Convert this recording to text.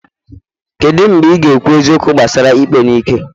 kedu mgbe ị ga-ekwu eziokwu gbasara ikpe n'ike?